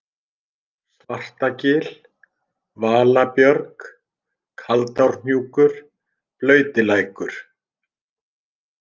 Svartagil, Valabjörg, Kaldárhnjúkur, Blautilækur